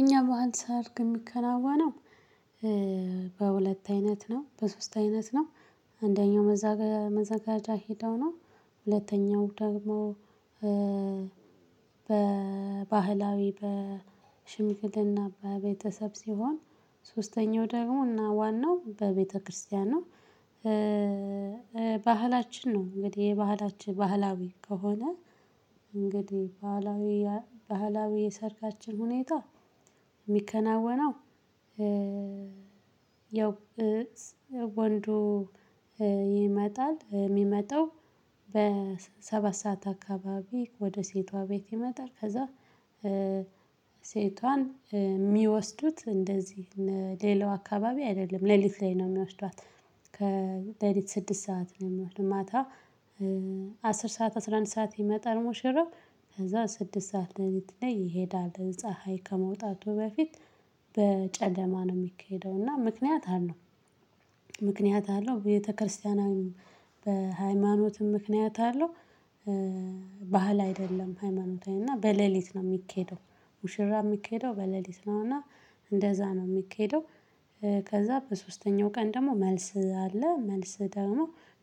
እኛ ባህል ሳደርግ የሚከናወነው በሁለት አይነት ነው በሶስት አይነት ነው። እንደኛው መዘጋጃ ሄደው ነው። ሁለተኛው ደግሞ በ በባህላዊ በሽምግልና በቤተሰብ ሲሆን። ሶስተኛው ደግሞ እና ዋናው በቤተክርስቲያን ነው። ባህላችን ነው እንግዲህ የባህላችን ባህላዊ ከሆነ እንግዲህ ባህላዊ ባህላዊ የሰርጋችን ሁኔታ። የሚከናወነው ያው ወንዱ ይመጣል የሚመጣው በሰባት ሰዓት አካባቢ ወደ ሴቷ ቤት ይመጣል። ከዛ። ሴቷን የሚወስዱት እንደዚህ ሌላው አካባቢ አይደለም ሌሊት ላይ ነው የሚወስዷት። ከሌሊት ስድስት ሰዓት ነው የሚሆነው ማታ። አስር ሰዓት አስራ አንድ ሰዓት የመጠር ሙሽረብ ከዛ ስድስት ሰዓት ለሊት ላይ ይሄዳል። ፀሀይ ከመውጣቱ በፊት በጨደማ ነው የሚካሄደው እና ምክንያት አለው። ምክንያት አለው ቤተክርስቲያናዊም በሃይማኖትም ምክንያት አለው። ባህል አይደለም ሃይማኖታዊ እና በሌሊት ነው የሚኬደው። ሙሽራ የሚኬደው በሌሊት ነው እና እንደዛ ነው የሚኬደው። ከዛ በሶስተኛው ቀን ደግሞ መልስ አለ መልስ ደግሞ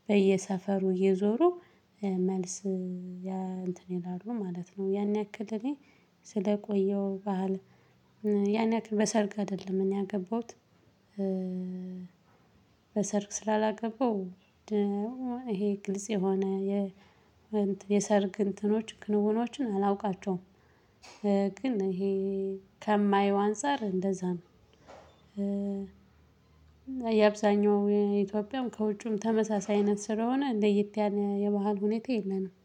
በየሰፈሩ እየዞሩ መልስ ያ እንትን ይላሉ ማለት ነው። ያን ያክል እኔ ስለቆየሁ ባህል። ያን በሰርግ አይደለም እኔ ያገባሁት። በሰርግ ስላላገባው ይሄ ግልጽ የሆነ የሰርግ እንትኖች ክንውኖችን አላውቃቸውም። ግን ይሄ ከማየው አንፃር እንደዛ ነው። የአብዛኛው ኢትዮጵያም ከውጭም ተመሳሳይ አይነት ስለሆነ ለየት ያለ የመሃል ሁኔታ የለንም